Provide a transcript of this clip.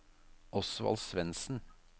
Osvald Svendsen